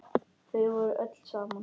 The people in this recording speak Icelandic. Þau voru öll saman.